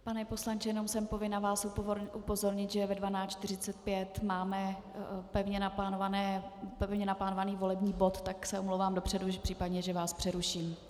Pane poslanče, jenom jsem povinna vás upozornit, že ve 12.45 máme pevně naplánovaný volební bod, tak se omlouvám dopředu případně, že vás přeruším.